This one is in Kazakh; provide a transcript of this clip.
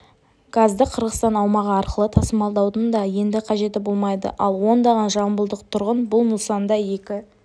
газды қырғызстан аумағы арқылы тасымалдаудың да енді қажеті болмайды ал ондаған жамбылдық тұрғын бұл нысанда екі